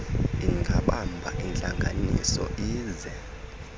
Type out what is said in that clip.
ingabamba intlanganiso ize